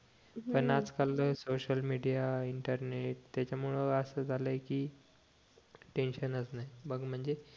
पण आज काल सोसिअल मीडिया त्याच्यामुळे असं झालंय कि टेन्शन च नाही बघ म्हणजे